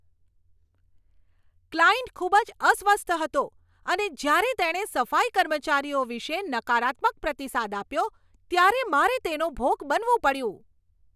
Client ખૂબ જ અસ્વસ્થ હતો અને જ્યારે તેણે સફાઈ કર્મચારીઓ વિશે નકારાત્મક પ્રતિસાદ આપ્યો ત્યારે મારે તેનો ભોગ બનવું પડ્યું.